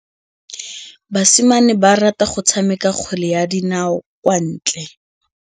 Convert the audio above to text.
Basimane ba rata go tshameka kgwele ya dinaô kwa ntle.